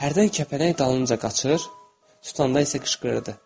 Hərdən kəpənək dalınca qaçır, tutanda isə qışqırırdı.